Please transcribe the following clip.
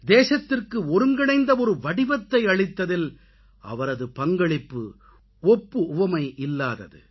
தேசத்திற்கு ஒருங்கிணைந்த ஒரு வடிவத்தை அளித்ததில் அவரது பங்களிப்பு ஒப்பு உவமையில்லாதது